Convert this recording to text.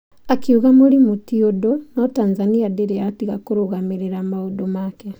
Akiuga mũrimũ ti ũndũ no Tanzania ndĩrĩ yatiga kũrũgamĩrĩra maũndũ make.